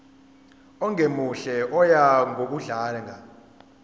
ongemuhle oya ngokudlanga